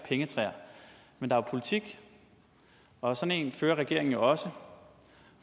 pengetræer men der er politik og sådan en fører regeringen også